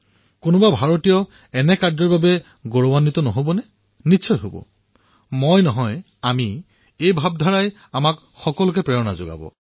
ইয়াৰ দ্বাৰা ভাৰতীয়সকলে গৰ্ব নকৰিবনে নিশ্চয় কৰিব মই নহয় আমিৰ এই ভাবনাই আমাক সকলোকে প্ৰেৰণা দিব